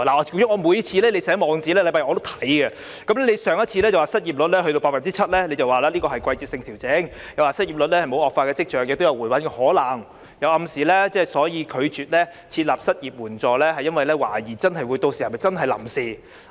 局長每個星期日寫的網誌我也會閱讀，上次你提到失業率達到 7%， 說是季節性調整，又說失業率沒有惡化的跡象，亦有回穩的可能，並暗示拒絕設立失業援助金，是因為懷疑屆時是否真的只屬臨時措施。